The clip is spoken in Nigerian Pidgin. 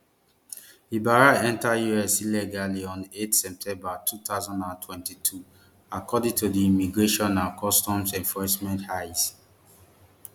ibarra enter us illegally on eight september two thousand and twenty-two according to di immigration and customs enforcement ice